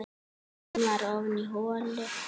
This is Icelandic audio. Boltinn var ofan í holu.